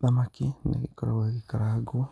Thamaki nĩgĩkoragwo ĩgĩkarangũo,